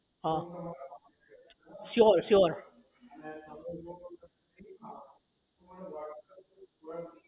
હા sure sure